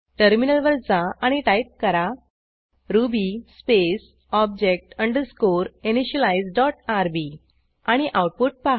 टर्मिनलवर जा आणि टाईप करा Ruby space object underscore initialize dot RB आणि आऊटपुट पहा